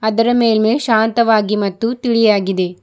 ಇದರ ಮೇಲೆ ಶಾಂತವಾಗಿ ಮತ್ತು ತಿಳಿಯಾಗಿದೆ.